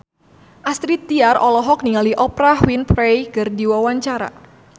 Astrid Tiar olohok ningali Oprah Winfrey keur diwawancara